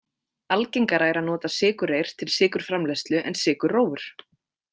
Algengara er að nota sykurreyr til sykurframleiðslu en sykurrófur.